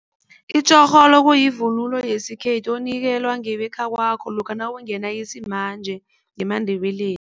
Itjorholo kuyivunulo yesikhethu onikelwa ngebekhakwakho lokha nawungena isimanje ngemaNdebeleni.